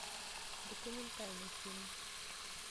документальный фильм